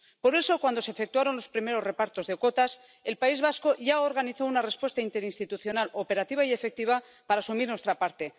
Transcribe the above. Por eso, cuando se efectuaron los primeros repartos de cuotas, el País Vasco ya organizó una respuesta interinstitucional operativa y efectiva para asumir nuestra parte.